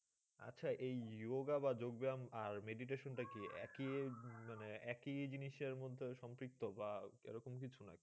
আচ্ছা এই yoga বা যোগ ব্যায়াম আর meditation টা কী? একই ইয়ে মানে একই জিনিসের মধ্যে সম্পৃক্ত বা এরকম কিছু নাকি?